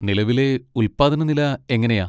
നിലവിലെ ഉല്പാദന നില എങ്ങനെയാ?